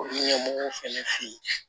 Ɲɛmɔgɔw fɛnɛ fɛ yen